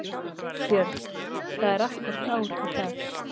Björn: Það er akkúrat ár í dag?